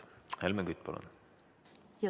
Helmen Kütt, palun!